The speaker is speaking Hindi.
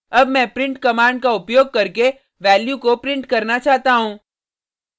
अब मैं प्रिंट कमांड का उपयोग करके वैल्यू को प्रिंट करना चाहता हूँ